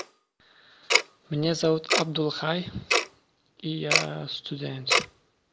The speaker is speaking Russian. меня зовут абдулхай и я студент